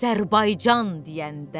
Azərbaycan deyəndə.